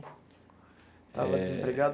Estava desempregado.